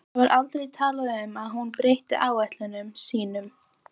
Það var aldrei talað um að hún breytti áætlunum sínum.